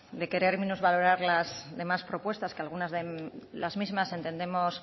de querer minusvalorar las demás propuestas que algunas de las mismas entendemos